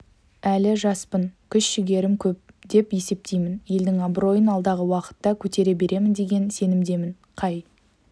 әлі жаспын күш-жігерім көп деп есептеймін елдің абыройын алдағы уақытта көтере беремін деген сенімдемін қай